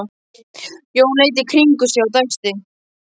Jón leit í kringum sig og dæsti.